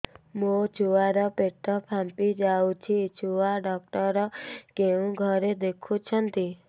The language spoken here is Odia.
ମୋ ଛୁଆ ର ପେଟ ଫାମ୍ପି ଯାଉଛି ଛୁଆ ଡକ୍ଟର କେଉଁ ଘରେ ଦେଖୁ ଛନ୍ତି